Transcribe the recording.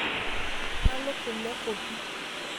Kang'war nalo kule kopi